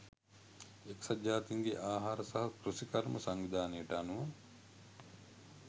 එක්සත් ජාතීන්ගේ ආහාර සහ කෘෂිකර්ම සංවිධානයට අනුව